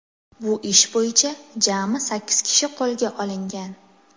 Bu ish bo‘yicha jami sakkiz kishi qo‘lga olingan.